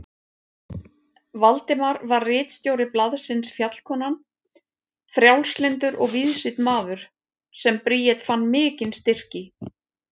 Valdimar var ritstjóri blaðsins Fjallkonan, frjálslyndur og víðsýnn maður sem Bríet fann mikinn styrk í.